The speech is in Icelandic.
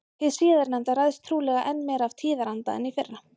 Hið síðarnefnda ræðst trúlega enn meira af tíðaranda en hið fyrra.